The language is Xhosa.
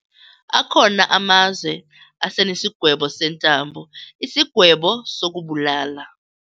Akhona amazwe asenesigwebo sentambo, isigwebo sokubulala.